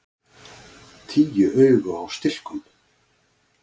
Tíu augu á stilkum!